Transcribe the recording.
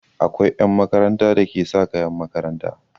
Akwai 'yan makaranta da ke sa kayan makaranta.